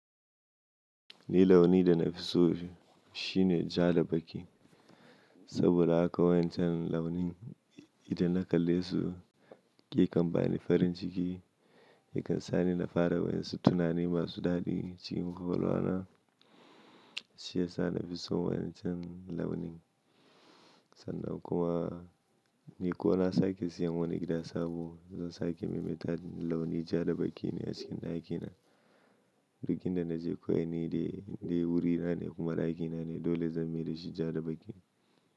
Ni launin da na fi so shi ne ja da baƙi, saboda haka wancan launin idan na kalle su yake bani farin ciki, yakan sa ni na fara wani tunani masu daɗi cikin kowalwana, shi ya sa na fi so wancan launin. Sannan kuma ni ko na sake siyan wani gida sabo zan sake maimaita launi ja da baƙi ne a cikin ɗakina, duk inda na je kowane dai wurina ne kuma ɗakina ne dole zan mai da shi ja da baƙi.